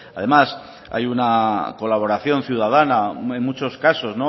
además hay una colaboración ciudadana en muchos casos